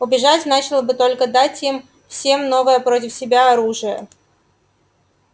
убежать значило бы только дать им всем новое против себя оружие